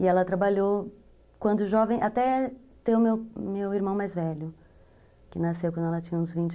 E ela trabalhou, quando jovem, até ter o meu irmão mais velho, que nasceu quando ela tinha uns vinte